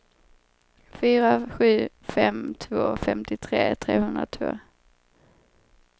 fyra sju fem två femtiotre trehundratvå